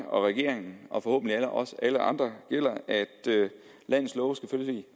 og regeringen og forhåbentlig også for alle andre gælder at landets love selvfølgelig